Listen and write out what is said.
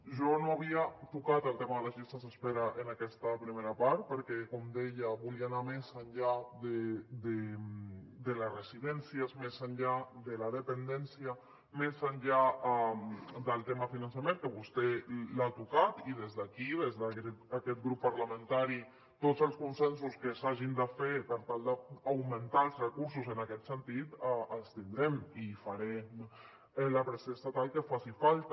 jo no havia tocat el tema de les llistes d’espera en aquesta primera part perquè com deia volia anar més enllà de les residències més enllà de la dependència més enllà del tema de finançament que vostè l’ha tocat i des d’aquí des d’aquest grup parlamentari tots els consensos que s’hagin de fer per tal d’augmentar els recursos en aquest sentit els tindrem i farem la pressió estatal que faci falta